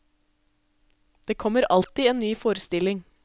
Det kommer alltid en ny forestilling.